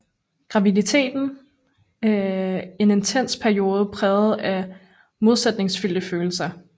Graviditeten en intens periode præget af modsætningsfyldte følelser